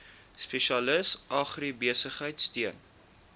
spesialis agribesigheid steun